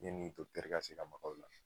Yanni ka se ka maga u la